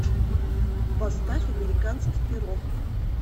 поставь американский пирог